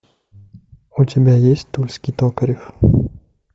у тебя есть тульский токарев